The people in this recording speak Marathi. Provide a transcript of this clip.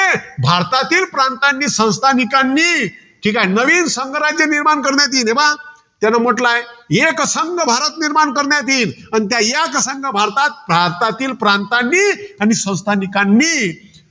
भारतातील प्रांतांनी, संस्थानिकांनी, ठीकाय. नवीन संघराज्य निर्माण करण्यात येईल. हे पहा त्यानं म्हंटल आहे. एकसंघ भारत निर्माण करण्यात येईल. त्या एकसंघ भारतात भारतातील प्रांतांनी आणि संस्थानिकांनी